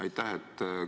Aitäh!